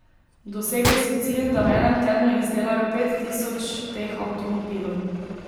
Dosegli so cilj, da v enem tednu izdelajo pet tisoč teh avtomobilov.